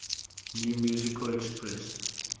new musical express